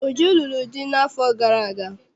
Uju lụrụ di n'afọ gara aga.